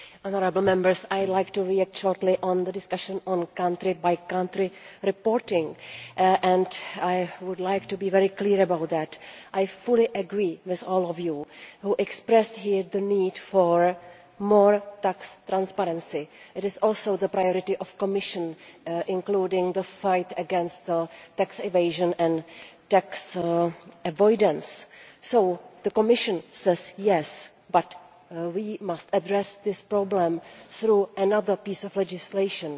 Madam President, honourable Members, I would like to respond briefly to the discussion on country-by-country reporting. I would like to be very clear about that. I fully agree with all of you who expressed here the need for more tax transparency. It is also the priority of the Commission, including the fight against tax evasion and tax avoidance. So the Commission says yes, but we must address this problem through another piece of legislation.